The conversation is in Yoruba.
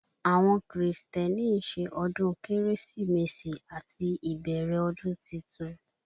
Àwọn Krìstẹ́nì ń ṣe ọdún Kérésìmesì àti ìbẹ̀rẹ̀ ọdún titun